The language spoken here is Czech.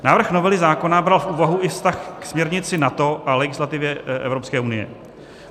Návrh novely zákona bral v úvahu i vztah k směrnici NATO a legislativě Evropské unie.